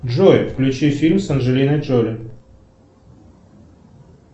джой включи фильм с анджелиной джоли